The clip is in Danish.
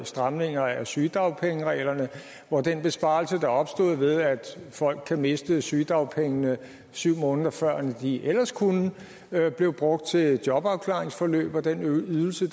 stramningerne af sygedagpengereglerne hvor den besparelse der opstod ved at folk kan miste sygedagpengene syv måneder før end de ellers kunne blev brugt til jobafklaringsforløb og den ydelse